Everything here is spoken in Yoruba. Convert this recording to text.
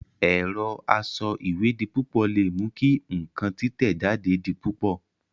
Ẹ̀rọ asọ ìwé di púpọ̀ le mú kí ǹkan títẹ̀ jáde di púpọ̀